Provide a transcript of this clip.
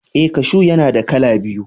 Eh, kashu yana da kala biyu.